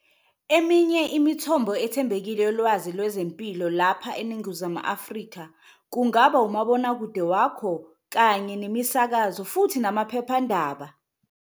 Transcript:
Eminye imithombo ethembekile yolwazi lwezempilo lapha eNingizimu Afrika kungaba umabonakude wakho kanye nemisakazo futhi namaphephandaba.